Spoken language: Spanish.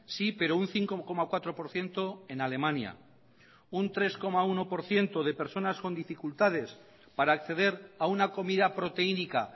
sí pero un cinco coma cuatro por ciento en alemania un tres coma uno por ciento de personas con dificultades para acceder a una comida proteínica